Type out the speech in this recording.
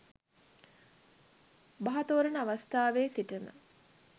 බහ තෝරන අවස්ථාවේ සිටම